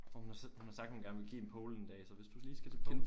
Og hun har sagt hun har sagt hun gerne vil give en pole en dag så hvis du lige skal til pole